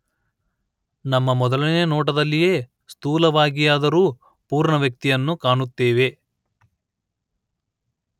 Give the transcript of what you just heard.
ನಮ್ಮ ಮೊದಲ ನೋಟದಲ್ಲಿಯೇ ಸ್ಥೂಲವಾಗಿಯಾದರೂ ಪೂರ್ಣ ವ್ಯಕ್ತಿಯನ್ನು ಕಾಣುತ್ತೇವೆ